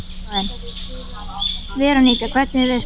Veronika, hvernig er veðurspáin?